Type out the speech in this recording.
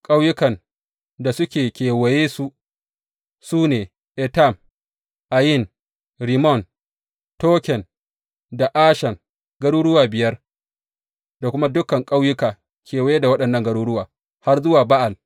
Ƙauyukan da suke kewayensu su ne Etam, Ayin, Rimmon, Token da Ashan, garuruwa biyar; da kuma dukan ƙauyuka kewaye da waɗannan garuruwa har zuwa Ba’al.